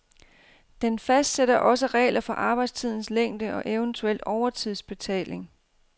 Den fastsætter også regler for arbejdstidens længde og eventuel overtidsbetaling.